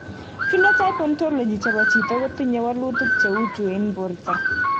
Phenotype Ontology chepo chito Kotinye wolutik che u chu en porto.